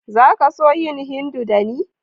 Za ka so yin Hindu da ni??